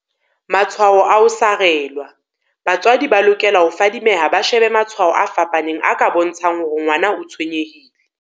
Matshwao a ho sarelwa Batswadi ba lokela ho fadi meha ba shebe matshwao a fapaneng a ka bontsha ng hore ngwana o tshwenye hile.